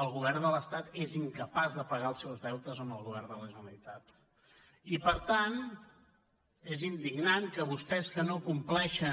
el govern de l’estat és incapaç de pagar els seus deutes al govern de la generalitat i per tant és indignant que vostès que no compleixen